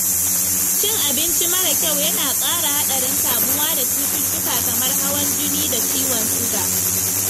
Cin abinci mara kyau yana ƙara haɗarin kamuwa da cututtuka kamar hawan jini da ciwon suga.